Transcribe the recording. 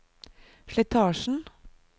slitasjen